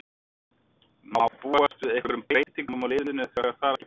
Má búast við einhverjum breytingum á liðinu þegar þar að kemur?